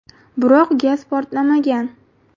Biroq gaz portlamagan.